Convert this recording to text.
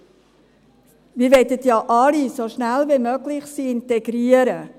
Wir möchten sie ja alle so schnell wie möglich integrieren.